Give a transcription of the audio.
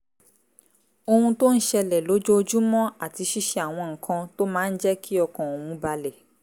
ohun tó ń ṣẹlẹ̀ lójoojúmọ́ àti ṣíṣe àwọn nǹkan tó máa ń jẹ́ kí ọkàn òun balẹ̀